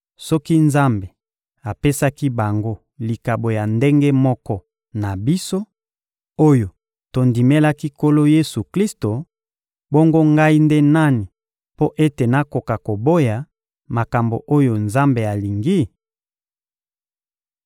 Soki Nzambe apesaki bango likabo ya ndenge moko na biso oyo tondimelaki Nkolo Yesu-Klisto, bongo ngai nde nani mpo ete nakoka koboya makambo oyo Nzambe alingi?